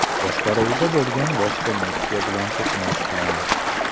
boshqaruvida bo‘lgan boshqa Nexia bilan to‘qnashgan.